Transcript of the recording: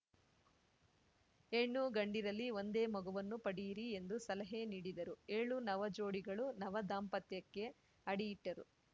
ಹೆಣ್ಣುಗಂಡಿರಲಿ ಒಂದೇ ಮಗುವನ್ನು ಪಡೆಯಿರಿ ಎಂದು ಸಲಹೆ ನೀಡಿದರು ಏಳು ನವಜೋಡಿಗಳು ನವ ದಾಂಪತ್ಯಕ್ಕೆ ಅಡಿಯಿಟ್ಟರು